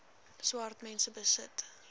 swart mense besit